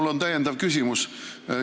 Mul on täiendav küsimus.